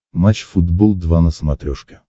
матч футбол два на смотрешке